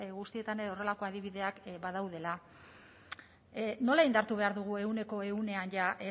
guztietan ere horrelako adibideak badaudela nola indartu behar dugu ehuneko ehunean ja